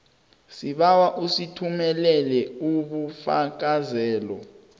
sibawa usithumelele ubufakazelo